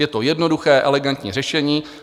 Je to jednoduché, elegantní řešení.